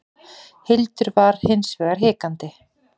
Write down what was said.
Hildur var hins vegar hikandi.